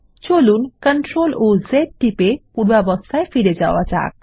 চলুন Ctrl ও Z টিপে পূর্বাবস্থায় ফিরে যাওয়া যাক